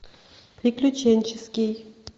приключенческий